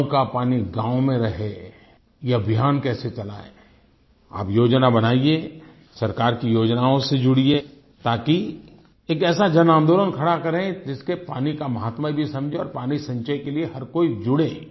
गाँव का पानी गाँव में रहे ये अभियान कैसे चलायें आप योजना बनाइए सरकार की योजनाओं से जुड़िए ताकि एक ऐसा जनआंदोलन खड़ा करें ताकि हम पानी से एक ऐसा जनआन्दोलन खड़ा करें जिसके पानी का माहत्म्य भी समझें और पानी संचय के लिए हर कोई जुड़े